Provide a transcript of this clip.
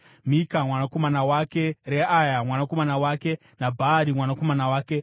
Mika mwanakomana wake, Reaya mwanakomana wake, naBhaari mwanakomana wake.